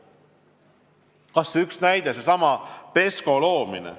Kas või üks näide: seesama PESCO loomine.